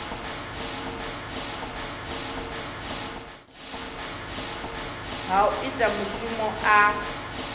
ha u ita mushumo a